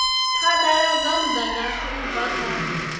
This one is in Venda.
phadaladza mudagasi u bva kha